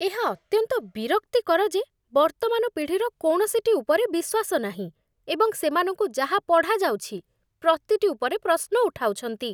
ଏହା ଅତ୍ୟନ୍ତ ବିରକ୍ତିକର ଯେ ବର୍ତ୍ତମାନ ପିଢ଼ିର କୌଣସିଟି ଉପରେ ବିଶ୍ୱାସ ନାହିଁ, ଏବଂ ସେମାନଙ୍କୁ ଯାହା ପଢ଼ାଯାଉଛି ପ୍ରତିଟି ଉପରେ ପ୍ରଶ୍ନ ଉଠାଉଛନ୍ତି।